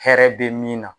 Hɛrɛ be min na